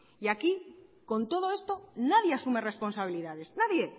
y aquí con todo esto nadie asume responsabilidades nadie